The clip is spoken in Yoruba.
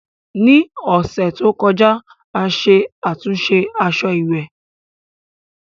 Ní ọ̀sẹ̀ tó kọjá, a ṣe àtúnṣe aṣọ ìwẹ̀